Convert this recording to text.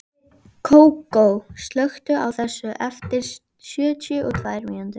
Kókó, slökktu á þessu eftir sjötíu og tvær mínútur.